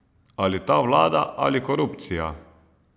Ali ta vlada ali korupcija!